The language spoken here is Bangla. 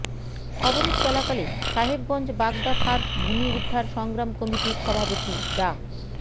অবরোধ চলাকালে সাহেবগঞ্জ বাগদা ফার্ম ভূমি উদ্ধার সংগ্রাম কমিটির সভাপতি ডা